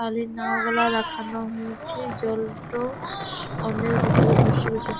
খালি নাম গুল লেখান হয়েছে জলটো অন্যের ভিতরে বসে বসে ।